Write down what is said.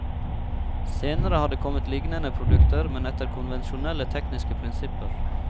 Senere har det kommet liknende produkter, men etter konvensjonelle tekniske prinsipper.